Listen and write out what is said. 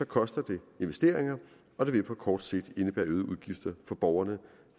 koster det investeringer og det vil på kort sigt indebære øgede udgifter for borgerne